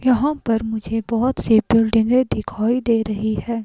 यहां पर मुझे बहोत से बिल्डिंगें दिखाई दे रही हैं।